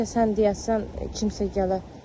Bəlkə sən deyəsən kimsə gələ.